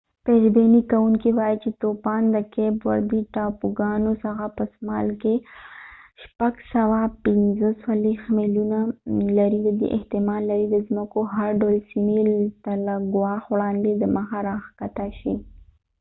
پيش بينى كوونكې واې چي توپان د کيپ وردي ټاپوګانو څخه په سمال کي645 ميلونه 1040 کلوميره لرې دي، احتمال لري د ځمکو هر ډول سیمې ته له ګواښ وړاندې دمخه راښکته شي۔